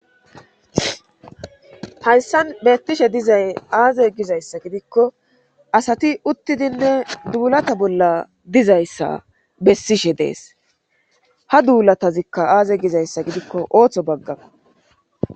Hayssan beettishe dizay aaze gizayssa gidikko asati uttidinne duulata bolla dizayssa bessishe dees ha duulatazikka aaze gizayssa gidikko ooththo baggaa.